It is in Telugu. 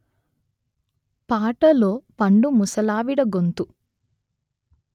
పాటలో పండు ముసలావిడ గొంతు